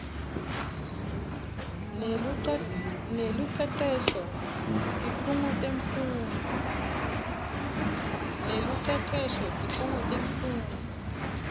nelucecesho tikhungo temfundvo